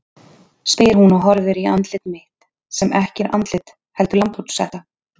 spyr hún og horfir í andlit mitt sem ekki er andlit heldur lambhúshetta.